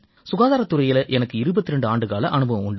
சுகாதாரத் துறையில எனக்கு 22 ஆண்டுக்கால அனுபவம் உண்டு